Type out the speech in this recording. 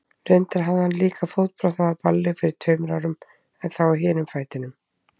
Reyndar hafði hann líka fótbrotnað á balli fyrir tveimur árum, en þá á hinum fætinum.